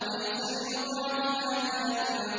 لَيْسَ لِوَقْعَتِهَا كَاذِبَةٌ